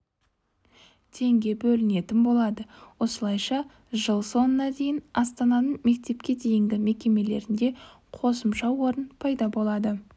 теңге бөлінетін болады осылайша жыл соңына дейін астананың мектепке дейінгі мекемелерінде қосымша орын пайда болады